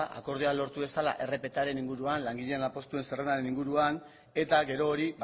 akordioa lortu dezala rptaren inguruan langileen lanpostuen zerrendaren inguruan eta gero hori